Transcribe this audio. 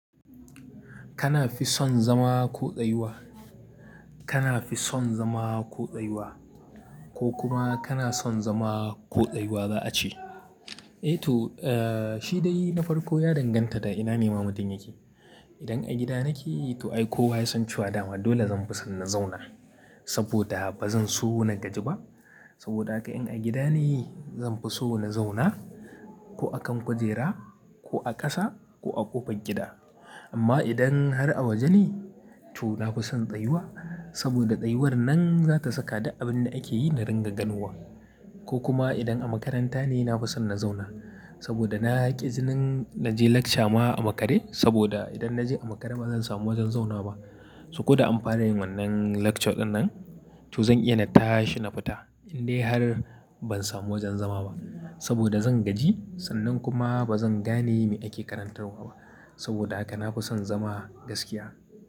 Kana fi son zama ko tsayuwa? Kana fi son zama ko tsayuwa, ko kuma kana son zama ko tsayuwa za a ce. Eh to, eh shi dai na farko ya danganta da ina ne mamacin yake. Idan a gida nake to ai kowa ya san cewa dama dole zan fi son na zauna saboda ba zan so na gaji ba. Saboda haka in a gida ne zan fi so na zauna ko a kan kujera ko a ƙasa ko a ƙofar gida. Amma idan har a waje ne to na fi son tsayuwa saboda tsayuwar nan za ta saka da abin da ake yi na ringa ganuwa. Ko kuma idan a makaranta ne na fi son na zauna saboda na haƙi jinin na je lecture ma a makare saboda idan na je a makare ba zan samu wajen zauna ba. So ko da amfanin wannan lecture dinnan to zan iya na tashi na fita in dai har ban samu wajen zama ba saboda zan gaji sannan kuma ba zan gane me ake karantarwa ba. Saboda haka na fi son zama gaskiya.